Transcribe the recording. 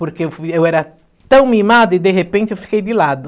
Porque eu fui eu era tão mimada e, de repente, eu fiquei de lado.